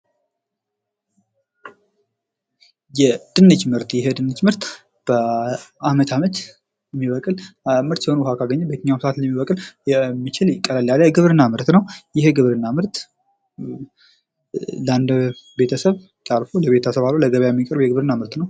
ድንች ይህ የድንች ምርት ከመዓት አመታት የሚበቅል ውሃ ካገኘ በማንኛውም ሰዓት ሊበቅል የሚችል ቀለል ያለ የግብርና ምርት ነው። ይህ የግብርና ምርት ከቤተሰብ አልፎ ለገበያ የሚቀርብ የግብርና ምርት ነው።